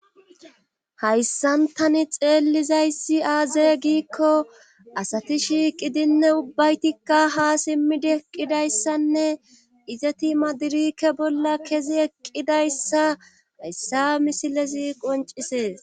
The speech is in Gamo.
hayssantani xeellizayssi aaze giikko asati shiiqidinne ubbaytikka ha simmidi eqqidayssanne izeti madirike bolla kezi eqqidayssa hayssa misilezi qoncisees